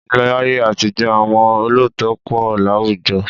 Láyé àtijọ́ àwọn olóòótọ́ pọ̀ láwùjọ